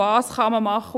Was kann man machen?